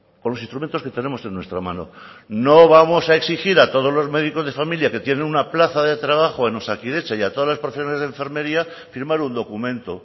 con los instrumentos que tenemos en nuestra mano no vamos a exigir a todos los médicos de familia que tienen una plaza de trabajo en osakidetza y a todas las profesionales de enfermería firmar un documento